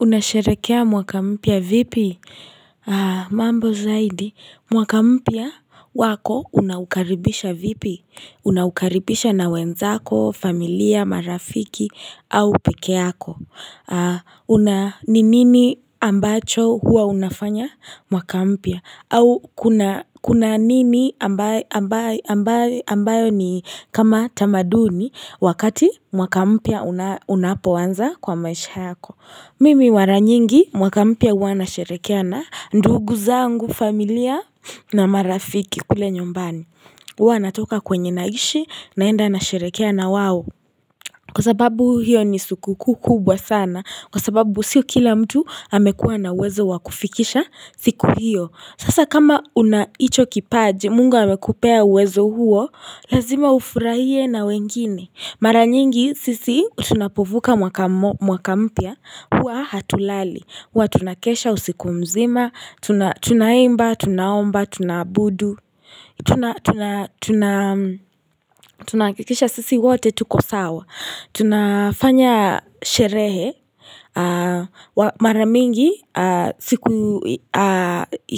Unasherehekea mwaka mpya vipi? Mambo zaidi, mwaka mpya wako unaukaribisha vipi? Unaukaribisha na wenzako, familia, marafiki, au pekeako. Ni nini ambacho huwa unafanya mwaka mpya? Au kuna nini ambayo ni kama tamaduni wakati mwaka mpia unapoanza kwa maisha yako. Mimi mara nyingi mwaka mpya huwa nasherehekea, ndugu zangu familia na marafiki kule nyumbani. Huwa natoka kwenye naishi naenda nasherehekea na wao. Kwa sababu hiyo ni sikukuu kubwa sana, kwa sababu sio kila mtu amekua na uwezo wa kufikisha siku hiyo. Sasa kama una hicho kipaje, mungu amekupea uwezo huo, lazima ufurahie na wengine. Mara nyingi sisi tunapovuka mwaka mpya, huwa hatulali, huwa tunakesha usiku mzima, tunaimba, tunaomba, tunaabudu, tunahakikisha sisi wote tuko sawa. Tunafanya sherehe, mara mingi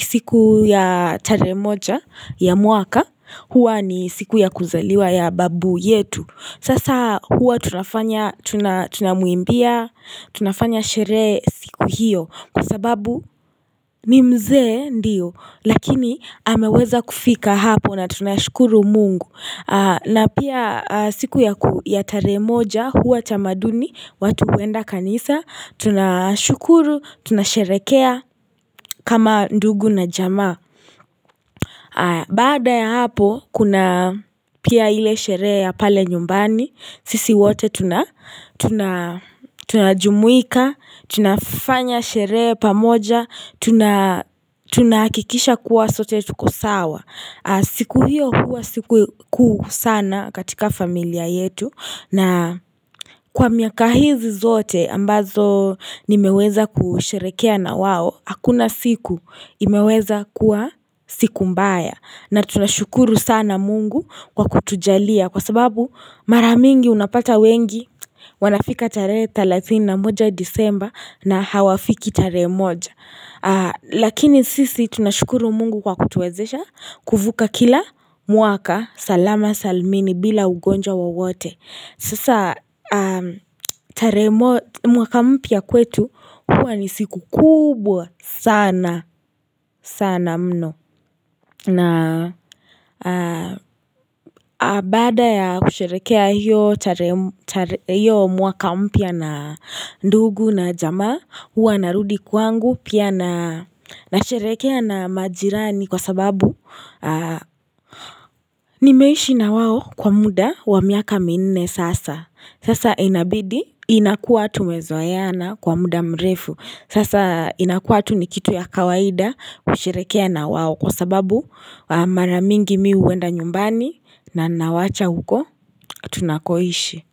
siku ya tarehe moja ya mwaka, huwa ni siku ya kuzaliwa ya babu yetu. Sasa huwa tunafanya tunamwimbia, tunafanya sherehe siku hiyo Kwa sababu ni mzee ndiyo Lakini ameweza kufika hapo na tunashukuru mungu na pia siku ya ya tarehe moja huwa tamaduni watu huenda kanisa Tunashukuru, tunasherehekea kama ndugu na jama Bada ya hapo kuna pia ile sherehe ya pale nyumbani Sisi wote tunajumuika, tunafanya sherehe pamoja, tunahakikisha kuwa sote tuko sawa. Siku hiyo huwa sikukuu sana katika familia yetu na kwa miaka hizi zote ambazo nimeweza kusherehekea na wao, hakuna siku imeweza kuwa siku mbaya. Na tunashukuru sana mungu kwa kutujalia kwa sababu mara mingi unapata wengi wanafika tarehe thelathini na moja disemba na hawafiki tarehe moja Lakini sisi tunashukuru mungu kwa kutuwezesha kuvuka kila mwaka salama salmini bila ugonjwa wowote Sasa mwaka mpya kwetu huwa ni siku kubwa sana sana mno na baada ya kusherehekea hiyo mwaka mpya na ndugu na jamaa huwa narudi kwangu pia na nasherehekea na majirani kwa sababu nimeishi na wao kwa muda wa miaka minne sasa. Sasa inabidi inakua tumezoeana kwa muda mrefu. Sasa inakuwa tu ni kitu ya kawaida kusherehekea na wao kwa sababu mara mingi mi huenda nyumbani na nawacha huko tunakoishi.